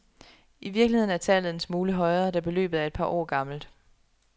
I virkeligheden er tallet en smule højere, da beløbet er et par år gammelt.